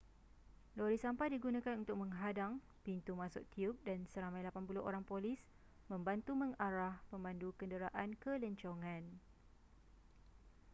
lori sampah digunakan untuk menghadang pintu masuk tiub dan seramai 80 orang polis membantu mengarah pemandu kenderaan ke lencongan